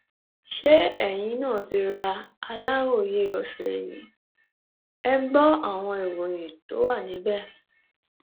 ṣé ẹyin náà ti ra aláròye ọsẹ yìí e gbọ àwọn ìròyìn tó wà níbẹ